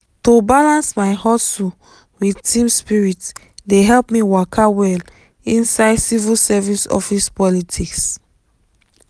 to balance my hustle with team spirit dey help me waka well inside civil service office politics.